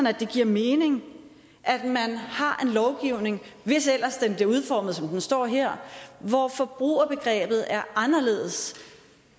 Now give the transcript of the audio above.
at det giver mening at man har en lovgivning hvis ellers den bliver udformet som den står her hvor forbrugerbegrebet er anderledes